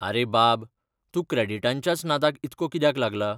आरे बाब, तूं क्रॅडिटांच्याच नादाक इतको कित्याक लागला?